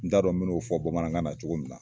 N t'a dɔn n bi n'o fɔ bamanankan na cogo minna